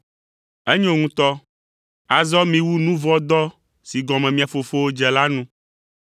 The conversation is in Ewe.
Enyo ŋutɔ, azɔ miwu nu vɔ̃ dɔ si gɔme mia fofowo dze la nu.